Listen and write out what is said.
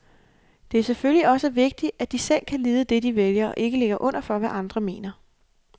Det er selvfølgelig også vigtigt, at de selv kan lide det, de vælger, og ikke ligger under for, hvad andre mener.